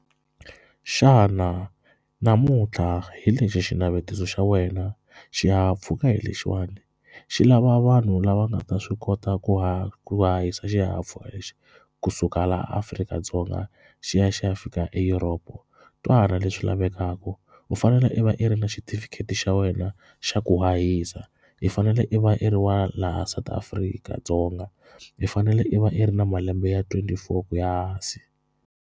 Xana namuntlha hi lexi xinavetiso xa wena xihahampfhuka hi lexiwani xi lava vanhu lava nga ta swi kota ku hahisa xihahampfhuka lexi kusuka laha Afrika-Dzonga xi ya xi ya fika Europe. Twana leswi lavekaka u fanele i va i ri na xitifiketi xa wena xa ku hahisa i fanele i va i ri wa laha South Afrika-Dzonga i fanele i va i ri na malembe ya twenty four ku ya hansi.